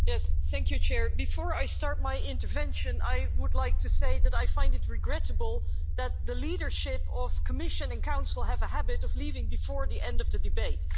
Mr President, before I start my intervention, I would like to say that I find it regrettable that the leadership of the Commission and the Council have a habit of leaving before the end of the debate.